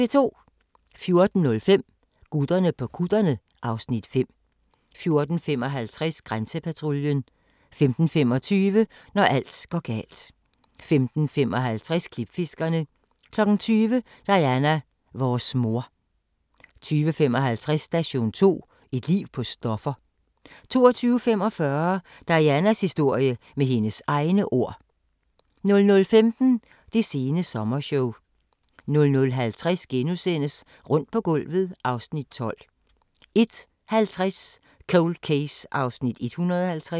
14:05: Gutterne på kutterne (Afs. 5) 14:55: Grænsepatruljen 15:25: Når alt går galt 15:55: Klipfiskerne 20:00: Diana - vores mor 20:55: Station 2: Et liv på stoffer 22:45: Dianas historie - med hendes egne ord 00:15: Det sene sommershow 00:50: Rundt på gulvet (Afs. 12)* 01:50: Cold Case (150:156)